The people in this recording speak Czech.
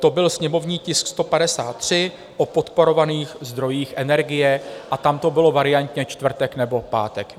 To byl sněmovní tisk 153 o podporovaných zdrojích energie a tam to bylo variantně čtvrtek nebo pátek.